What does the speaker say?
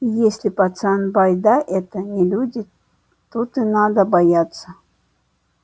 и если пацан байда эта не люди тут и надо бояться